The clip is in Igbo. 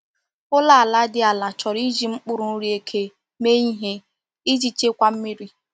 Ụlọ ala dị ala chọrọ iji mkpụrụ nri eke mee ihe eji echekwa mmiri.